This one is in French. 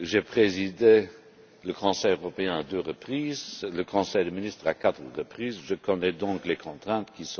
J'ai présidé le Conseil européen à deux reprises, le Conseil des ministres à quatre reprises, je connais donc les contraintes qui seront,